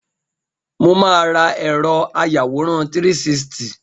Mo máa ra ẹ̀rọ àyawòran 360.